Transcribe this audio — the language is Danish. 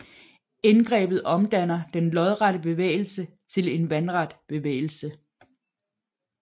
Indgrebet omdanner den lodrette bevægelse til en vandret bevægelse